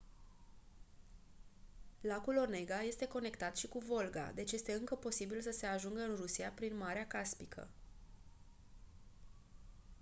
lacul onega este conectat și cu volga deci este încă posibil să se ajungă în rusia prin marea caspică